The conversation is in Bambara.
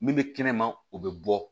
Min bɛ kɛnɛma o bɛ bɔ